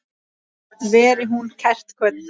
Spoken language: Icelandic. Veri hún kært kvödd.